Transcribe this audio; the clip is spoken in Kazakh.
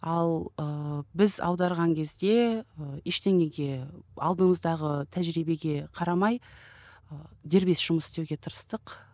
ал ыыы біз аударған кезде ы ештеңеге алдымыздағы тәжірибеге қарамай ы дербес жұмыс істеуге тырыстық